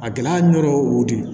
A gɛlɛya nɔrɔ wo de